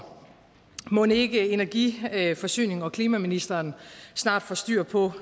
mon ikke energi forsynings og klimaministeren snart får styr på